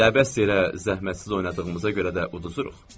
Elə əbəs yerə zəhmətsiz oynadığımıza görə də uduzuruq.